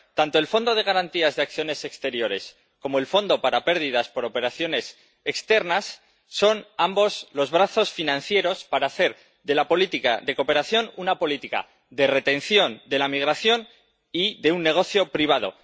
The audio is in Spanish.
Tanto el fondo de garantía de acciones exteriores como el fondo para pérdidas por operaciones exteriores son, ambos, los brazos financieros para hacer de la política de cooperación una política de retención de la migración y un negocio privado.